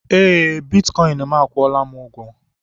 Eé, bitkọịn m akwụọla m ụgwọ.